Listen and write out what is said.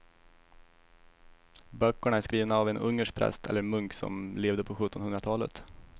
Böckerna är skrivna av en ungersk präst eller munk som levde på sjuttonhundratalet.